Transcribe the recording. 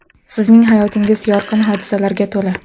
Sizning hayotingiz yorqin hodisalarga to‘la.